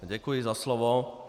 Děkuji za slovo.